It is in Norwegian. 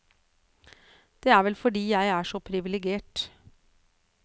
Det er vel fordi jeg er så privilegert.